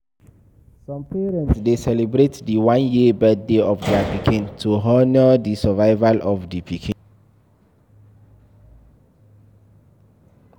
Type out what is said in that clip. Some parents de celebrate di one year birthday of their pikin to honor the survival of di pikin